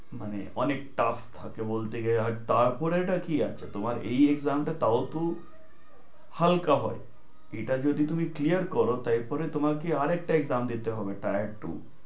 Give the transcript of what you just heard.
মানে অনেক tuff থাকে, বলতে গেলে। তারপরে টা কি আছে, তোমার এই exam টা তাও তো হালকা হয়, এটা যদি তুমি clear করো তাই পরে তোমাকে আরেকটা exam দিতে হবে। tier two